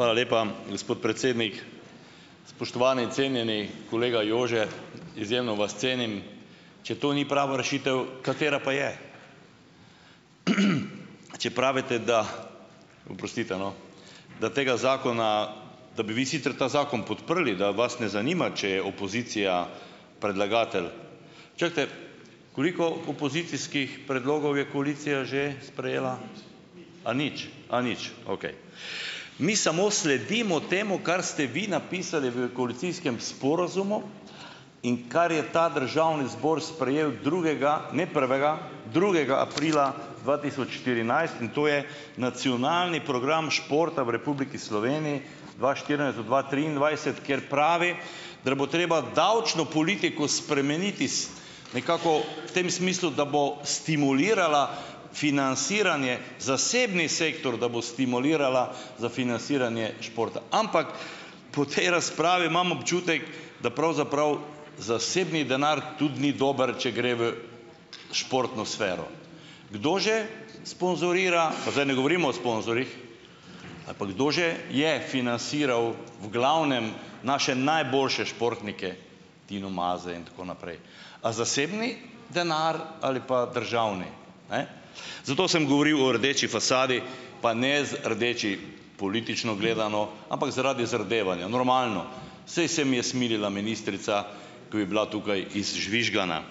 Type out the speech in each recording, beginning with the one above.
Hvala lepa, gospod predsednik. Spoštovani cenjeni kolega Jože, izjemno vas cenim, če to ni prava rešitev, katera pa je? Če pravite, da oprostite, no, da tega zakona, da bi vi sicer ta zakon podprli, da vas ne zanima, če je opozicija predlagatelj. Čakajte, koliko opozicijskih predlogov je koalicija že sprejela? A nič, a nič, okej. Mi samo sledimo temu, kar ste vi napisali v koalicijskem sporazumu in kar je ta državni zbor sprejel drugega, ne prvega, drugega aprila dva tisoč štirinajst. In to je Nacionalni program športa v Republiki Sloveniji dva štirinajst do dva triindvajset, kjer pravi, da bo treba davčno politiko spremeniti s nekako tem smislu, da bo stimulirala financiranje zasebni sektor, da bo stimulirala za financiranje športa. Ampak po tej razpravi imam občutek, da pravzaprav zasebni denar tudi ni dober, če gre v športno sfero. Kdo že sponzorira, pa zdaj ne govorimo o sponzorjih, ali pa kdo že je financiral v glavnem naše najboljše športnike, Tino Maze in tako naprej? A zasebni denar ali pa državni? Ne, zato sem govoril o rdeči fasadi, pa ne rdeči, politično gledano, ampak zaradi zardevanja. Normalno, saj se mi je smilila ministrica, ko je bila tukaj izžvižgana.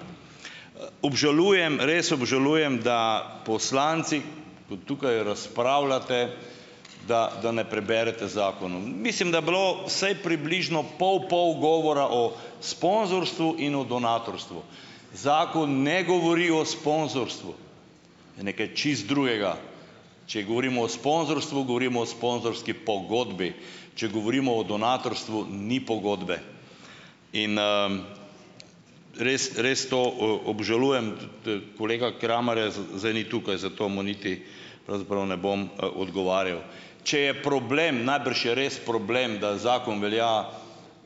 Obžalujem, res obžalujem, da poslanci, ko tukaj razpravljate, da da ne preberete zakonov. Mislim, da je bilo vsaj približno pol pol govora o sponzorstvu in o donatorstvu. Zakon ne govori o sponzorstvu, je nekaj čisto drugega. Če govorimo o sponzorstvu, govorimo o sponzorski pogodbi. Če govorimo o donatorstvu, ni pogodbe. In, res res to, obžalujem. Kolega Kramarja zdaj ni tukaj, zato mu niti pravzaprav ne bom, odgovarjal. Če je problem, najbrž je res problem, da zakon velja,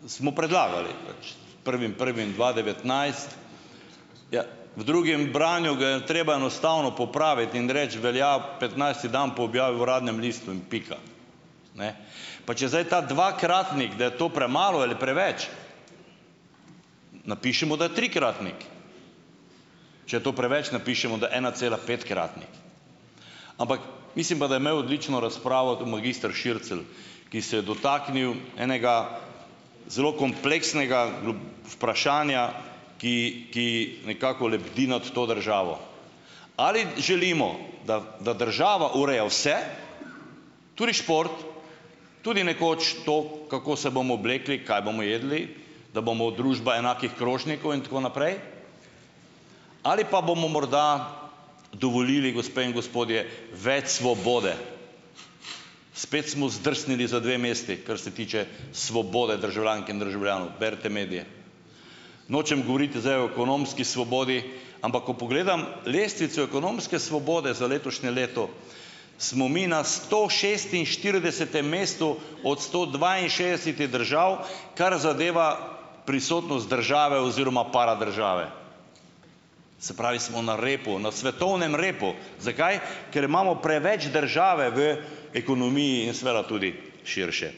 smo predlagali pač s prvim prvim dva devetnajst, ja, v drugem branju ga je treba enostavno popraviti in reči "velja" petnajsti dan po objavi v Uradnem listu in pika. Ne. Pa če zdaj ta dvakratnik, da je to premalo ali preveč, napišimo, da je trikratnik. Če je to preveč, napišimo, da je enacelapetkratnik. Ampak ... Mislim pa, da je imel odlično razpravo magister Šircelj, ki se je dotaknil enega zelo kompleksnega vprašanja, ki ki nekako lebdi mad to državo. Ali želimo, da da država ureja vse, tudi šport, tudi nekoč to, kako se bomo oblekli, kaj bomo jedli, da bomo družba enakih krožnikov in tako naprej? Ali pa bomo morda dovolili, gospe in gospodje, več svobode? Spet smo zdrsnili za dve mesti, kar se tiče svobode državljank in državljanov. Berite medije. Nočem govoriti zdaj o ekonomski svobodi, ampak ko pogledam lestvico ekonomske svobode za letošnje leto, smo mi na stošestinštiridesetem mestu od sto dvainšestdesetih držav, kar zadeva prisotnost države oziroma paradržave. Se pravi, smo na repu. Na svetovnem repu. Zakaj? Ker imamo preveč države v ekonomiji in seveda tudi širše.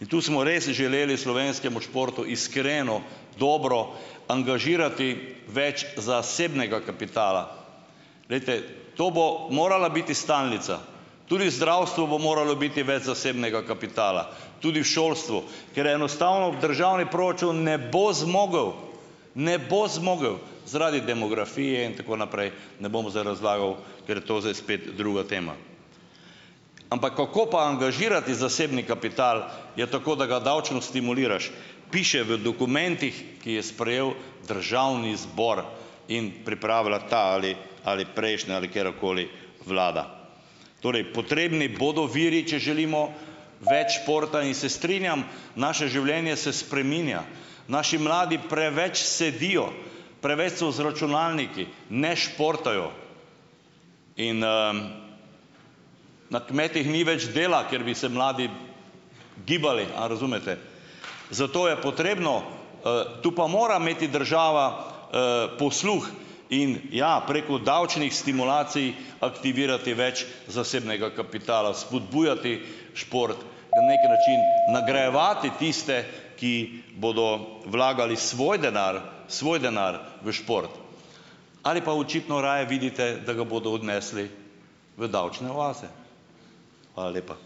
In tu smo res želeli slovenskemu športu iskreno, dobro angažirati več zasebnega kapitala. Glejte, to bo morala biti stalnica. Tudi v zdravstvu bo moralo biti več zasebnega kapitala, tudi v šolstvu, ker enostavno državni proračun ne bo zmogel, ne bo zmogel zaradi demografije in tako naprej, ne bom zdaj razlagal, ker je to zdaj spet druga tema. Ampak kako pa angažirati zasebni kapital? Ja tako, da ga davčno stimuliraš. Piše v dokumentih, ki je sprejel državni zbor in pripravila ta ali ali prejšnja ali karkoli vlada. Torej potrebni bodo viri, če želimo več športa. In se strinjam, naše življenje se spreminja. Naši mladi preveč sedijo, preveč so za računalniki, ne športajo. In, na kmetih ni več dela, kjer bi se mladi gibali, a razumete? Zato je potrebno, tu pa mora imeti država, posluh. In ja, preko davčnih stimulacij aktivirati več zasebnega kapitala, spodbujati šport, na neki način nagrajevati tiste, ki bodo vlagali svoj denar svoj denar v šport. Ali pa očitno raje vidite, da ga bodo odnesli v davčne oaze? Hvala lepa.